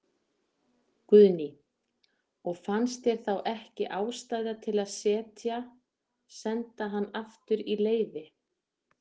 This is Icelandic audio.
Guðný: Og fannst þér þá ekki ástæða til að setja, senda hann aftur í leyfi?